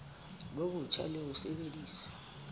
bo botjha le ho sebedisa